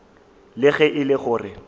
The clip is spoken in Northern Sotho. le ge e le gore